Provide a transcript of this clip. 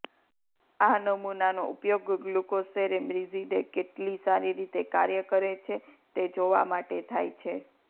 આ નમૂનાનો ઉપયોગ ગ્લુકોસેરેબ્રિઝીડે કેટલી સારી રીતે કાર્ય કરે છે તે જોવા માટે થાય છે